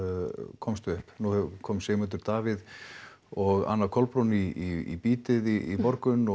komst upp nú kom Sigmundur Davíð og Anna Kolbrún í bítið í morgun og